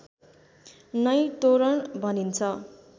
नै तोरण भनिन्छ